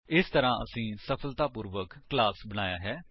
ਇਸ ਤਰਾਂ ਅਸੀਂ ਸਫਲਤਾਪੂਰਵਕ ਕਲਾਸ ਬਣਾਇਆ ਹੈ